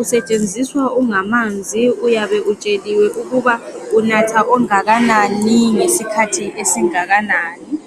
Usetshenziswa ungamanzi, uyabe utsheliwe ukuba unatha ongakanani ngesikhathi esingakanani.